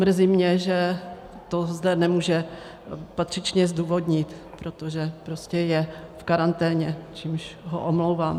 Mrzí mě, že to zde nemůže patřičně zdůvodnit, protože prostě je v karanténě, čímž ho omlouvám.